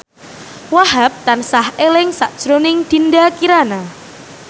Wahhab tansah eling sakjroning Dinda Kirana